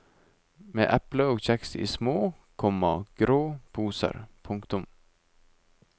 Med epler og kjeks i små, komma grå poser. punktum